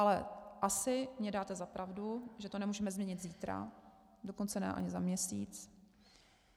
Ale asi mi dáte za pravdu, že to nemůžeme změnit zítra, dokonce ani ne za měsíc.